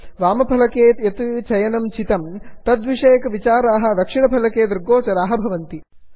वामफलके यत् चयनं चितं तद्विषयकविचाराः दक्षिणफलके दृग्गोचराः भवति